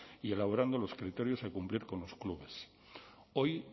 y elaborando los criterios a cumplir con los clubes hoy